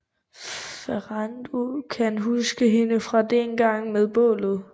Ferrando kan huske hende fra dengang med bålet